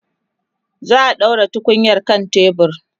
za'a ɗaura tukunyar kan tebur